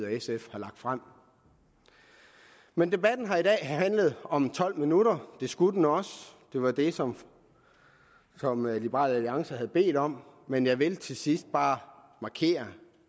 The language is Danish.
og sf har lagt frem men debatten her i dag har handlet om tolv minutter det skulle den også det var det som som liberal alliance havde bedt om men jeg vil til sidst bare markere